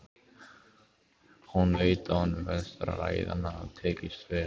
Hún veit að honum finnst ræðan hafa tekist vel.